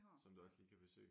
Som du også lige kan besøge?